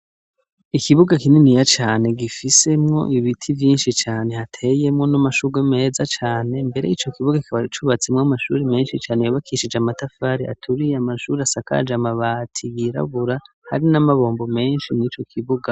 Ikibuga kininiya cane gifisemwo ibiti vyinshi cane hateyemwo n'amashugwe meza cane mbere ico kibuga kikaba cubatsemwo amashuri menshi cane yabakishije amatafari aturiye, amashuri asakaje amabati yirabura hari n'amabombo menshi nico kibuga.